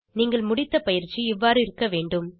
நீங்கள் முடித்த பயிற்சி இவ்வாறு இருக்க வேண்டும்